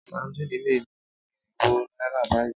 Sadíìnì lé ní irinwó náírà báyìí.